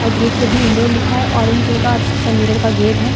और गेट पे भी इंडोर लिखा है ऑरेंज कलर का मिरर का गेट है।